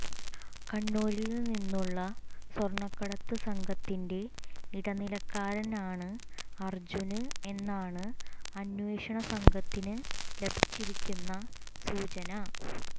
കണ്ണൂരില് നിന്നുള്ള സ്വര്ണക്കടത്ത് സംഘത്തിന്റെ ഇടനിലക്കാരനാണ് അര്ജുന് എന്നാണ് അന്വേഷണ സംഘത്തിന് ലഭിച്ചിരിക്കുന്ന സൂചന